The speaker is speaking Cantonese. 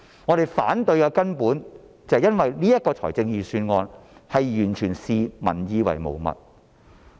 我們反對的根本理由，是預算案完全視民意為無物。